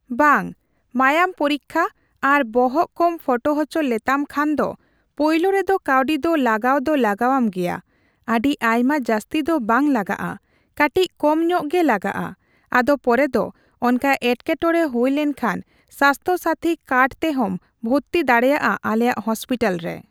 ᱵᱟᱝ᱾ ᱢᱟᱭᱟᱝ ᱯᱩᱨᱤᱠᱠᱷᱟ ᱟᱨ ᱵᱚᱦᱚᱜ ᱠᱚᱢ ᱯᱷᱚᱴᱳ ᱦᱚᱪᱚ ᱞᱮᱛᱟᱢ ᱠᱷᱟᱱ ᱫᱮ ᱯᱳᱭᱞᱳ ᱨᱮᱫᱚ ᱠᱟᱣᱰᱤ ᱫᱚ ᱞᱟᱜᱟᱣ ᱫᱚ ᱞᱟᱜᱟᱣᱟᱢ ᱜᱮᱭᱟ᱾ ᱟᱹᱰᱤ ᱟᱭᱢᱟ ᱡᱟᱹᱥᱛᱤ ᱫᱚ ᱵᱟᱝ ᱞᱟᱜᱟᱜᱼᱟ, ᱠᱟᱴᱤᱪ ᱠᱚᱢ ᱧᱚᱜ ᱜᱮ ᱞᱟᱜᱟᱜᱼᱟ᱾ ᱟᱫᱚ ᱯᱚᱨᱮ ᱫᱚ ᱚᱱᱠᱟ ᱮᱴᱠᱮᱴᱯᱲᱮ ᱦᱩᱭᱞᱮᱱᱠᱷᱟᱱ ᱥᱟᱥᱛᱷᱚ ᱥᱟᱛᱷᱤ ᱠᱟᱨᱰ ᱛᱮᱦᱚᱸᱢ ᱵᱷᱚᱨᱛᱤ ᱫᱟᱲᱮᱭᱟᱜᱼᱟ ᱟᱞᱮᱭᱟᱜ ᱦᱚᱥᱯᱤᱴᱟᱞ ᱨᱮ,